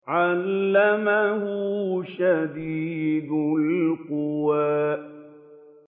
عَلَّمَهُ شَدِيدُ الْقُوَىٰ